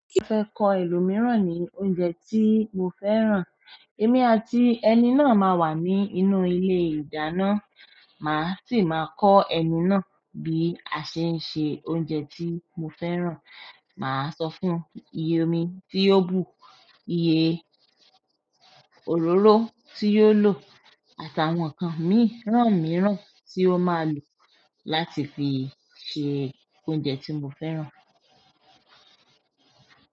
Mo fẹ́ kọ́ ẹlòmíràn ní ọ̀uje tí mo fẹ́ràn. Èmi àti ẹni náà máa wà ní inú ilé-ìdáná, màá sì máa kọ́ ẹni náà bí a ṣe ń ṣe oúnjẹ tí mo fẹ́ràn. Maa sofun iye omi tio bu, iye òróró ti o lo àti àwọn nkan miran ti o ma lo láti fi se ṣe oúnjẹ tí mo fẹ́ràn.